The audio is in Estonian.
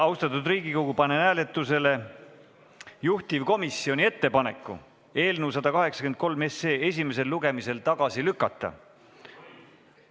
Austatud Riigikogu, panen hääletusele juhtivkomisjoni ettepaneku eelnõu 183 esimesel lugemisel tagasi lükata.